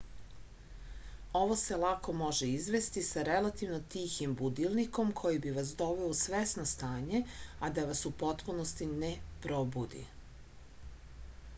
ovo se lako može izvesti sa relativno tihim budilnikom koji bi vas doveo u svesno stanje a da vas u potpunosti ne probudi